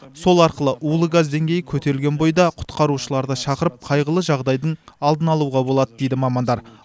сол арқылы улы газ деңгейі көтерілген бойда құтқарушыларды шақырып қайғылы жағдайдың алдын алуға болады дейді мамандар